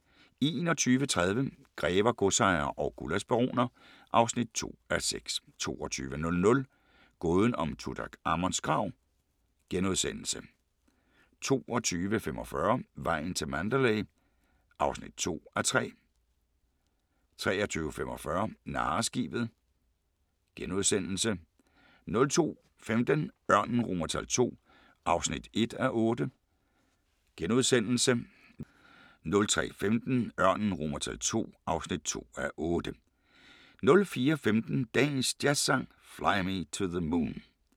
21:30: Grever, godsejere og gullaschbaroner (2:6) 22:00: Gåden om Tutankhamons grav * 22:45: Vejen til Mandalay (2:3) 23:45: Narreskibet * 02:15: Ørnen II (1:8)* 03:15: Ørnen II (2:8) 04:15: Dagens Jazzsang: Fly Me to the Moon *